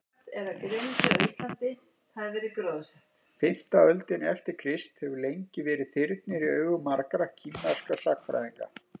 fimmta öldin eftir krist hefur lengi verið þyrnir í augum margra kínverskra sagnfræðinga